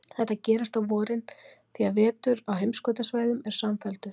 Þetta gerist á vorin, því að vetur á heimskautasvæðum er samfelldur.